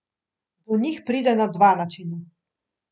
Do njih pride na dva načina.